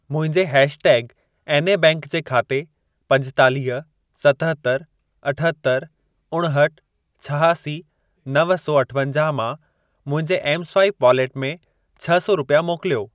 मुंहिंजे hashtag एनए bank जे खाते पंजेतालीह, सतहतरि, अठहतरि, उणहठि, छहासी, नव सौ अठवंजाह मां, मुंहिंजे एम स्वाइप वॉलेट में छ सौ रुपिया मोकिलियो।